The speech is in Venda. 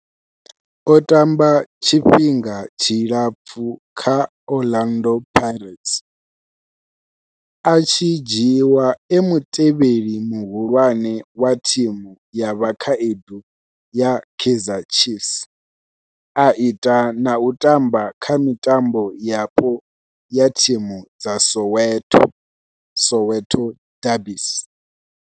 O tamba tshifhinga tshilapfhu kha Orlando Pirates, a tshi dzhiiwa e mutevheli muhulwane wa thimu ya vhakhaedu ya Kaizer Chiefs, a ita na u tamba kha mitambo yapo ya thimu dza Soweto, Soweto derbies.